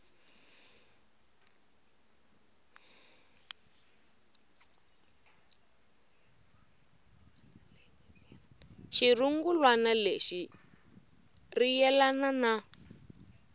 xirungulwana lexi ri yelana na